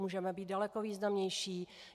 Můžeme být daleko významnější.